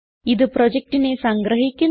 ഇത് പ്രൊജക്റ്റിനെ സംഗ്രഹിക്കുന്നു